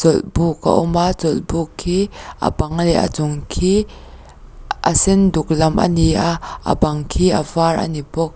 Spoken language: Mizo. chawlhbuk a awm a chawlhbuk khi a bang leh a chung khi a sen duk lam a ni a a bang khi a vâr a ni bawk.